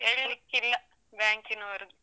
ಹೇಳಿಕ್ಕಿಲ್ಲ ಬ್ಯಾಂಕಿನವರು.